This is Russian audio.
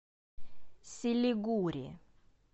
силигури